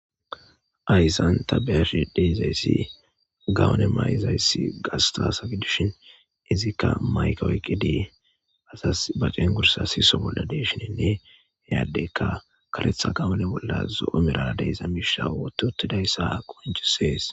Hayssan ta beyash deyzayssi gawone may7izayssi gastasappe dushin izikka mayka woyqqi dii asas baceen gursa siiso bolla deeshinenne yaadeykka karetha gawone bolla zo7omerade iza miishisawotutidayssa qonjisees